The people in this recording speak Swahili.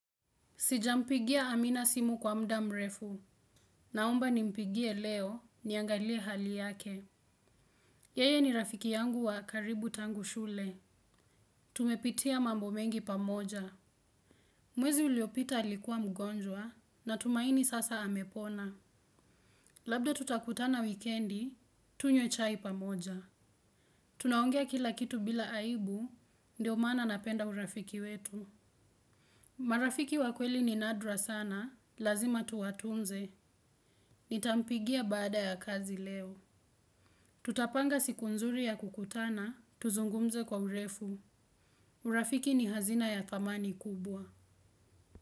Sijampigia amina simu kwa muda mrefu. Naomba nimpigie leo niangalie hali yake. Yeye ni rafiki yangu wa karibu tangu shule. Tumepitia mambo mengi pamoja. Mwezi uliopita alikua mgonjwa na tumaini sasa amepona. Labda tutakutana wikiendi, tunywe chai pamoja. Tunaongea kila kitu bila aibu, ndio mana napenda urafiki wetu. Marafiki wa kweli ni nadra sana, lazima tuwatunze. Nitampigia baada ya kazi leo. Tutapanga siku nzuri ya kukutana, tuzungumze kwa urefu. Urafiki ni hazina ya thamani kubwa.